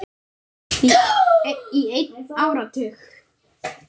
Í einn áratug eða svo.